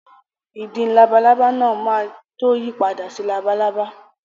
Ìdin labalábá náà máa tó yí padà sí labalábá.